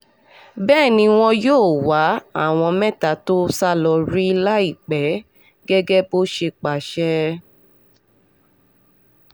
bẹ́ẹ̀ ni wọn yóò wá àwọn mẹ́ta tó sá lọ rí láìpẹ́ gẹ́gẹ́ bó ṣe pàṣẹ